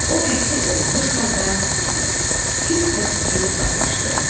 O təhqir olunmuş halda hirslə tüpürüb uzaqlaşdı.